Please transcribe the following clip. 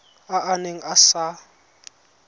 a a neng a sa